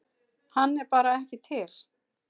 Hann er bara ekki til.